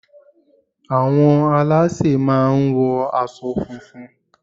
Àwọn alásè máà ń wo asọ funfun